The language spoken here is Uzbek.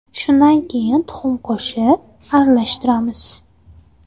Shundan keyin tuxum qo‘shib, aralashtiramiz.